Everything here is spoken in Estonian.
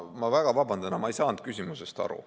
Ma väga vabandan, aga ma ei saanud küsimusest aru.